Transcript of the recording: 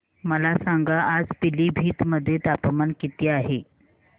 मला सांगा आज पिलीभीत मध्ये तापमान किती आहे